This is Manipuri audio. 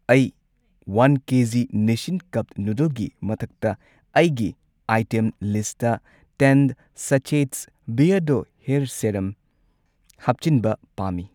ꯑꯩ ꯋꯥꯟ ꯀꯦꯖꯤ ꯅꯤꯁꯁꯤꯟ ꯀꯞ ꯅꯨꯗꯜꯒꯤ ꯃꯊꯛꯇ ꯑꯩꯒꯤ ꯑꯥꯏꯇꯦꯝ ꯂꯤꯁꯠꯇ ꯇꯦꯟ ꯁꯆꯦꯠꯁ ꯕꯤꯑꯔꯗꯣ ꯍꯦꯔ ꯁꯦꯔꯝ ꯍꯥꯞꯆꯤꯟꯕ ꯄꯥꯝꯃꯤ꯫